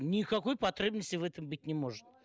никакой потребности в этом быть не может